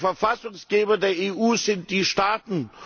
Der Verfassungsgeber der EU sind die Staaten.